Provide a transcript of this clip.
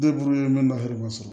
Ne bolo ba yɛrɛ b'a sɔrɔ